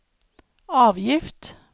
avgift